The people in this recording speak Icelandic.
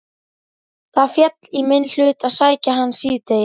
Það féll í minn hlut að sækja hana síðdegis.